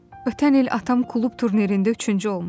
Ötən il atam klub turnirində üçüncü olmuşdu.